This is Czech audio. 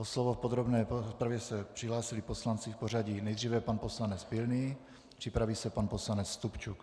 O slovo v podrobné rozpravě se přihlásili poslanci v pořadí: nejdříve pan poslanec Pilný, připraví se pan poslanec Stupčuk.